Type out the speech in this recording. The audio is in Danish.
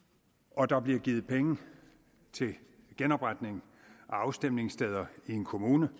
og der bliver givet penge til genopretning af afstemningssteder i en kommune